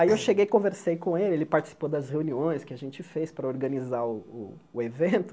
Aí eu cheguei e conversei com ele, ele participou das reuniões que a gente fez para organizar o o o evento.